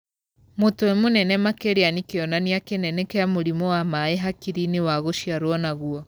Mũtwe mũnene makĩria nĩ kĩonania kĩnene kĩa mũrimũ wa maĩ hakiri-inĩ wa gũciarwo naguo.